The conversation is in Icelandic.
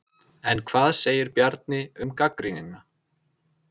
En hvað segir Bjarni um gagnrýnina?